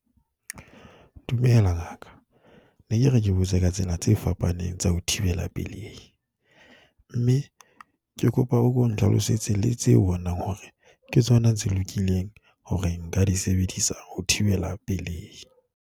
Dumela, ngaka. Ke ne ke re ke botse ka tsena tse fapaneng tsa ho thibela pelei, mme ke kopa o ko nhlalosetse le tseo o bonang hore ke tsona tse lokileng hore nka di sebedisa ho thibela pelei.